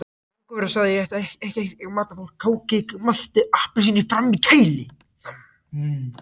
Fangavörðurinn sagði að ég ætti eitthvert magn af kóki, malti og appelsíni frammi í kæli.